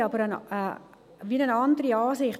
Wir haben aber eine andere Ansicht.